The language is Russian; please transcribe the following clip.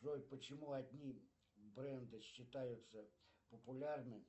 джой почему одни бренды считаются популярными